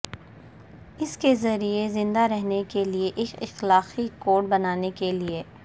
اس کے ذریعے زندہ رہنے کے لئے ایک اخلاقی کوڈ بنانے کے لئے